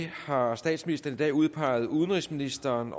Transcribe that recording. har statsministeren i dag udpeget udenrigsministeren